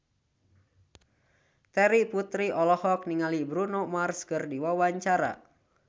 Terry Putri olohok ningali Bruno Mars keur diwawancara